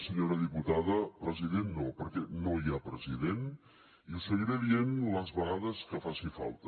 senyora diputada president no perquè no hi ha president i ho seguiré dient les vegades que faci falta